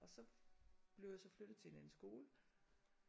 Og så blev jeg så flyttet til en anden skole